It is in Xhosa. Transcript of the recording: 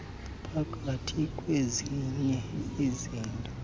phakathi kwezinye izinto